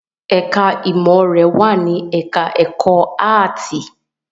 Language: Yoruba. Ẹ̀ká ìmọ̀ rẹ̀ wà ní ẹ̀ká ẹ̀kọ́ áàtì